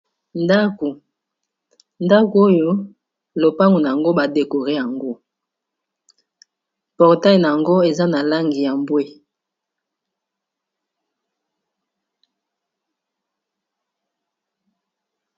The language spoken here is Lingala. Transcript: ndako oyo lopango na yango badekore yango portail na yango eza na langi ya mbwe